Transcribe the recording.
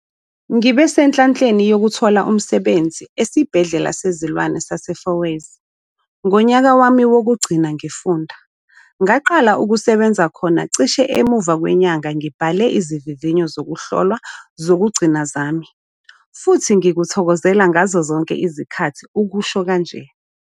"Ngibe senhlanhleni yokuthola umsebenzi Esibhedlela Sezilwane sase-Fourways ngonyaka wami wokugcina ngifunda. Ngaqala ukusebenza khona cishe emuva kwenyanga ngibhale izivivinyo zokuhlolwa zokugcina zami futhi ngikuthokozela ngazo zonke izikhathi," usho kanje.